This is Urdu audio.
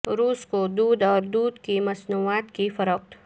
روس کو دودھ اور دودھ کی مصنوعات کی فروخت